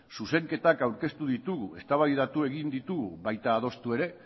zuzenketak aurkeztu ditugu eztabaidatu egin ditugu baita adostu ere